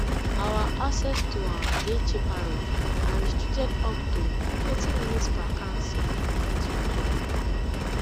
our access to am dey chaperone and restricted up to thirty minutes per counsel individually